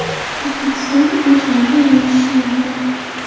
O‘zbekistonda go‘sht narxi yana oshishi mumkin.